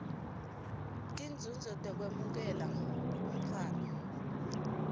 tinzuzo tekwemukela umntfwana